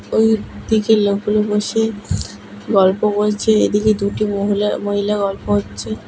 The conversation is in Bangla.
ওইদিকে লোকগুলো বসে গল্প করছে এদিকে দুটি মহিলা মহিলা গল্প হচ্ছে।